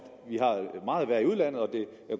meget værre i udlandet og at det